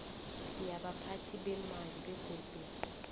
yabaphathi beemali begodu